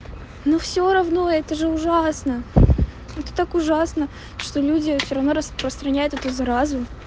ну всё равно это же ужасно это так ужасно что люди всё равно распространяют эту заразу